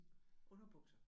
Underbukser?